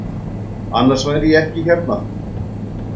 Annars væri ég ekki hérna.